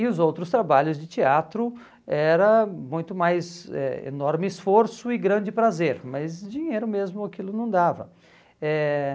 E os outros trabalhos de teatro era muito mais eh enorme esforço e grande prazer, mas dinheiro mesmo aquilo não dava. Eh